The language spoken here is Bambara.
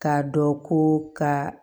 K'a dɔn ko ka